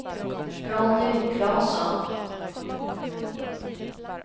Ronny Claesson